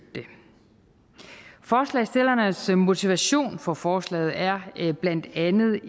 det forslagsstillernes motivation for forslaget er blandt andet